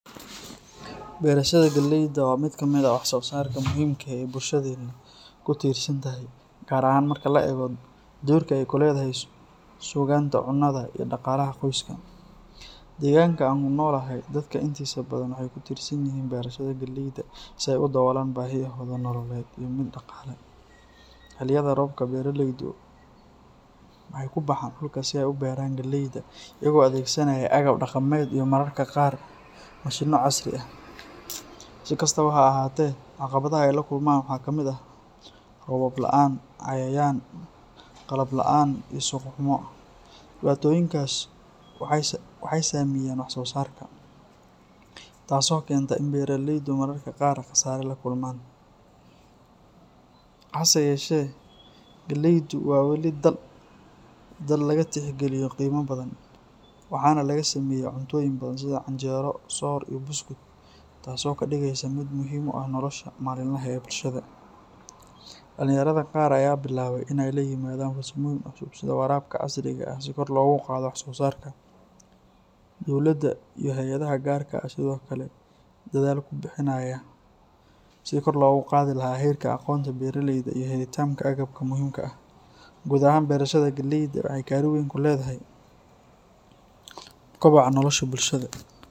Beerashada galeyda waa mid ka mid ah wax soo saarka muhiimka ah ee bulshadeenna ku tiirsan tahay, gaar ahaan marka la eego doorka ay ku leedahay sugnaanta cunnada iyo dhaqaalaha qoysaska. Deegaanka aan ku noolahay, dadka intiisa badan waxay ku tiirsan yihiin beerashada galeyda si ay u daboolaan baahiyahooda nololeed iyo mid dhaqaale. Xilliyada roobka, beeraleydu waxay ku baxaan dhulka si ay u beeraan galeyda, iyagoo adeegsanaya agab dhaqameed iyo mararka qaar mashiinno casri ah. Si kastaba ha ahaatee, caqabadaha ay la kulmaan waxaa ka mid ah roobab la’aan, cayayaan, qalab la’aan iyo suuq xumo. Dhibaatooyinkaas waxay saameeyaan wax soo saarka, taasoo keenta in beeraleydu mararka qaar khasaare la kulmaan. Hase yeeshee, galeydu weli waa dal laga tixgeliyo qiimo badan, waxaana laga sameeyaa cuntooyin badan sida canjeero, soor iyo buskud, taas oo ka dhigaysa mid muhiim u ah nolosha maalinlaha ah ee bulshada. Dhalinyarada qaar ayaa bilaabay inay la yimaadaan farsamooyin cusub sida waraabka casriga ah si kor loogu qaado wax soo saarka. Dowladdu iyo hay’adaha gaarka ah ayaa sidoo kale dadaal ku bixinaya sidii kor loogu qaadi lahaa heerka aqoonta beeraleyda iyo helitaanka agabka muhiimka ah. Guud ahaan, beerashada galeyda waxay kaalin weyn ku leedahay koboca nolosha bulshada.